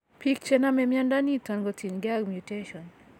Biik chenome mnyondo niton ko tien gee mutation